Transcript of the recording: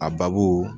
A babu